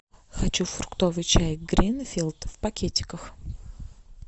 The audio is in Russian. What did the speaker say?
хочу фруктовый чай гринфилд в пакетиках